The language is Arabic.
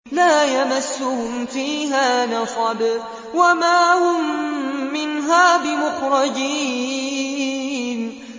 لَا يَمَسُّهُمْ فِيهَا نَصَبٌ وَمَا هُم مِّنْهَا بِمُخْرَجِينَ